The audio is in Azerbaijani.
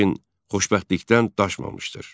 lakin xoşbəxtlikdən daşmamışdır.